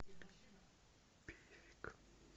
певек